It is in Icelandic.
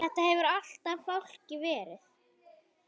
Þetta hefur alltaf fálki verið.